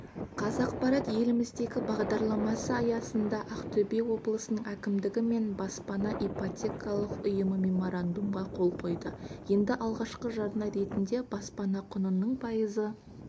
қазақпарат еліміздегі бағдарламасы аясында ақтөбе облысының әкімдігі мен баспана ипотекалық ұйымы меморандумға қол қойды енді алқашқы жарна ретінде баспана құнының пайызы